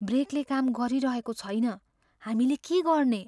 ब्रेकले काम गरिरहेको छैन। हामीले के गर्ने?